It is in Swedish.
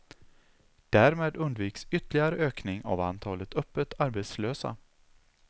Därmed undviks ytterligare ökning av antalet öppet arbetslösa.